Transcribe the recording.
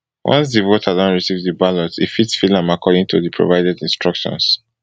once di voter don receive di ballot e fit fill am according to di provided instructions